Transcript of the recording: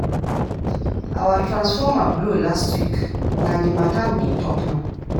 Our transformer blow last week, na di mata we dey tok now.